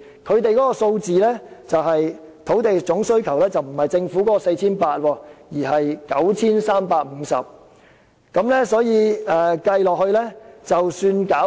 根據相關數字，新增土地總需求並不是政府提出的 4,800 公頃，而是 9,350 公頃，所以即使加上從發展東大